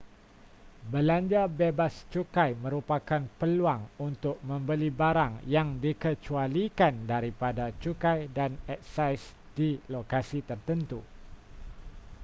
belanja bebas cukai merupakan peluang untuk membeli barang yang dikecualikan daripada cukai dan eksais di lokasi tertentu